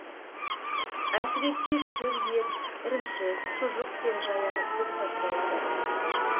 әсіресе сүр ет ірімшік шұжық пен жаяны көп сатып алады